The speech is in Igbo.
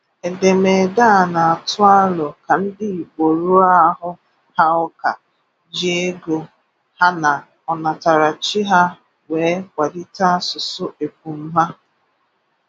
Èdèmèdè a na-atù àlò ka ndị̣ Ígbò rùọ àhù ha ùkà jí ego ha na ọ̀nàtaràchi ha wéè kwalítè asùsụ̀ épum ha